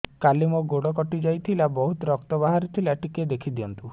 କାଲି ମୋ ଗୋଡ଼ କଟି ଯାଇଥିଲା ବହୁତ ରକ୍ତ ବାହାରି ଥିଲା ଟିକେ ଦେଖି ଦିଅନ୍ତୁ